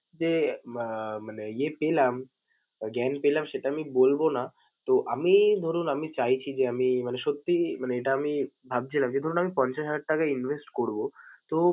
যে আহ মানে ইয়ে পেলাম জ্ঞান পেলাম সেটা আমি বলবো না। তো, আমি ধরুন আমি চাইছি যে আমি মানে সত্যিই মানে এটা আমি ভাবছিলাম যে ধরুন আমি পঞ্চাশ হাজার টাকা invest করবো তো